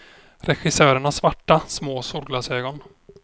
Regissören har svarta, små solglasögon.